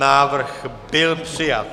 Návrh byl přijat.